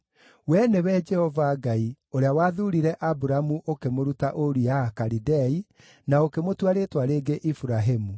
“Wee nĩwe Jehova Ngai, ũrĩa wathuurire Aburamu ũkĩmũruta Uri-ya-Akalidei na ũkĩmũtua rĩĩtwa rĩngĩ Iburahĩmu.